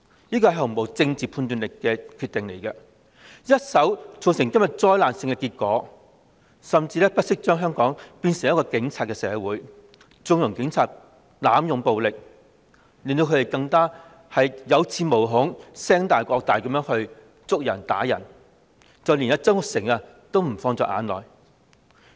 這個毫無政治判斷能力的決定一手造成今天災難性的結果，甚至不惜將香港變成警察社會，縱容警察濫用暴力，令他們更有恃無恐，橫蠻地拘捕和毆打示威者，連曾鈺成也不放在眼內。